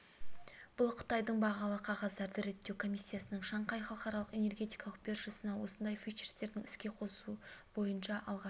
бұл қытайдың бағалы қағаздарды реттеу комиссиясының шанхай халықаралық энергетикалық биржасында осындай фьючерстерді іске қосу бойынша алғашқы